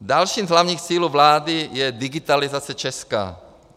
Dalším z hlavních cílů vlády je digitalizace Česka.